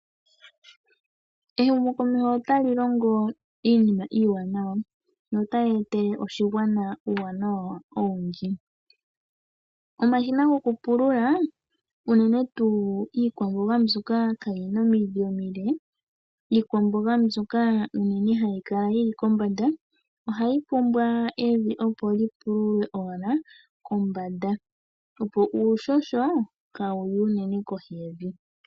Ehumokomeho otali longo iinima iiwanawa notayi etele oshigwana uuwanawa owundji. Omashina gopulula unene tuu iikwamboga mbyoka kayina omidhi omile, iikwamboga mbyoka unene hayi kala yi li kombanda ohayi pumbwa evi opo li pululwe owala kombanda opo uuhoho kaawuye unene kohi yevi.